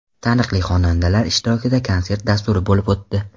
Taniqli xonandalar ishtirokida konsert dasturi bo‘lib o‘tdi.